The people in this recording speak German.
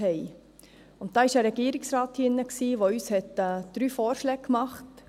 Damals war ein Regierungsrat hier drin, der uns drei Vorschläge machte.